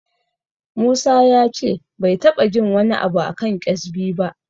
Musa ya ce bai taɓa jin wani abu a kan ƙyezbi ba.